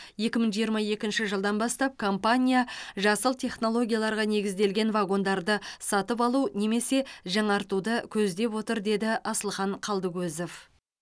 екі мың жиырма екінші жылдан бастап компания жасыл технологияларға негізделген вагондарды сатып алу немесе жаңартуды көздеп отыр деді асылхан қалдыкозов